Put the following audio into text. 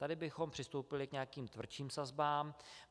Tady bychom přistoupili k nějakým tvrdším sazbám.